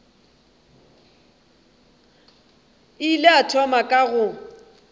ile a thoma ka go